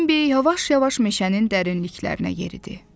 Bembi yavaş-yavaş meşənin dərinliklərinə yeridi.